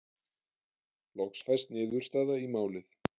Loks fæst niðurstaða í málið.